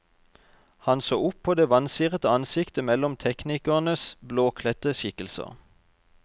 Han så opp på det vansirete ansiktet mellom teknikernes blåkledte skikkelser.